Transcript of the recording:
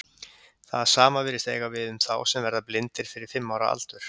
Það sama virðist eiga við um þá sem verða blindir fyrir fimm ára aldur.